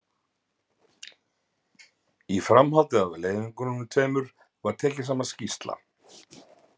Í framhaldi af leiðöngrunum tveimur var tekin saman skýrsla.